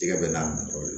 Jɛgɛ bɛ n'a jɔ